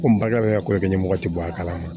Komi baliba ka ko kɛ ɲɛmɔgɔ ti bɔ a kalama